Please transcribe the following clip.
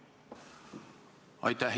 Aitäh!